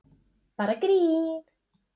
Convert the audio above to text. Bara grín!